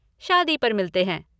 शादी पर मिलते हैं!